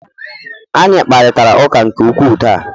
Anyị kparịta ụka nke ukwuu taa